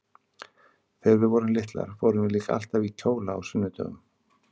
Þegar við vorum litlar fórum við líka alltaf í kjóla á sunnudögum.